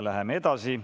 Läheme edasi.